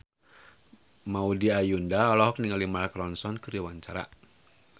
Maudy Ayunda olohok ningali Mark Ronson keur diwawancara